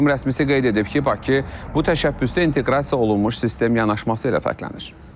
Qurum rəsmisi qeyd edib ki, Bakı bu təşəbbüsdə inteqrasiya olunmuş sistem yanaşması ilə fərqlənir.